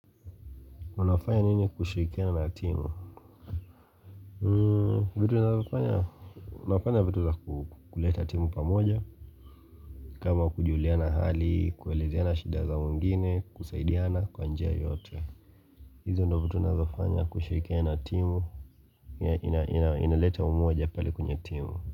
Unafanya nini kushirikia na timu? Vitu nazofanya? Unafanya vitu za kuleta timu pamoja. Kama kujuliana hali, kuelezeana shida za wengine, kusaidiana kwa njia yote. Hizo ndio vitu nazofanya kushirikiana na timu inaleta umoja pale kwenye timu.